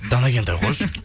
дана кентай қойшы